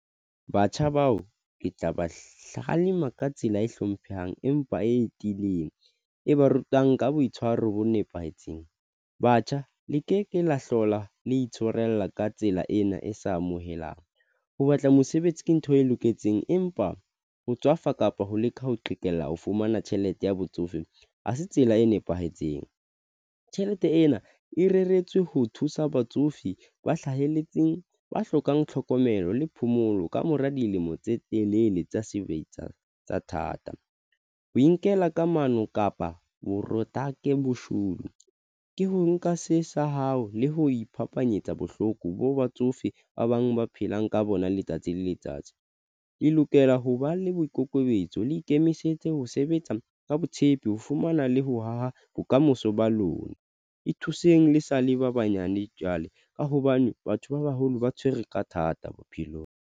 Batjha bao ke tla ba hlaha lema ka tsela e hlomphehang, empa e tiileng, e ba rutang ka boitshwaro bo nepahetseng. Batjha le ke ke la hlola le itshwarella ka tsela ena e sa amohelang ho batla mosebetsi ke ntho e loketseng, empa ho tswafa kapa ho leka ho qhekella ho fumana tjhelete ya batsofe ha se tsela e nepahetseng. Tjhelete ena e reretswe ho thusa batsofe ba hlahelletseng, ba hlokang tlhokomelo le phomolo. Kamora dilemo tse telele tsa sebetsa tsa thata, ho inkela kamano kapa bo Product Boshodu ke ho nka se sa hao le ho iphapanyetsa bohloko bo batsofe ba bang ba phelang ka bona letsatsi le letsatsi di lokela ho ba le boikokobetso le ikemisetse ho sebetsa ka botshepi ho fumana le ho haha bokamoso ba lona ithuseng le sa le ba banyane jwale ka hobane batho ba baholo ba tshwere ka thata bophelong.